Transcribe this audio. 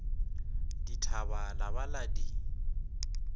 dithaba la ba la di